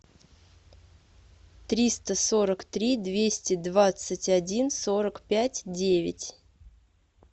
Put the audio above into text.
триста сорок три двести двадцать один сорок пять девять